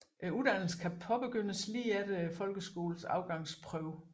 Uddannelsen kan påbegyndes lige efter Folkeskolens Afgangsprøve